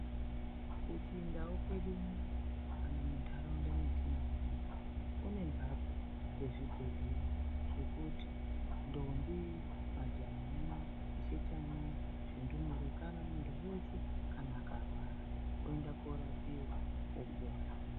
Kuchindau kwedu unono kana muntaraunda metinogara ,kune mphatso dzezvibhedhlera zvekuti ndombi, majaha, vachechana, zvindumure kana muntu weeshe kana akarwara, oenda koorapiwa opona.